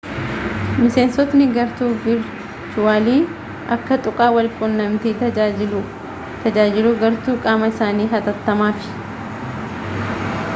miseensotni gartuu virchuwali akka tuqaa wal qunnamtiiti tajaajiluu gartuu qaama isaanii hatattamaaf